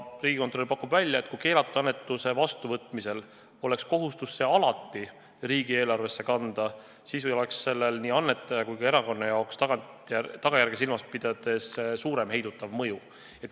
Riigikontroll pakub välja, et kui keelatud annetuse vastuvõtmisel oleks kohustus see alati riigieelarvesse kanda, siis oleks sellel seadusesättel nii annetaja kui ka erakonna jaoks tagajärgi silmas pidades suurem heidutav mõju.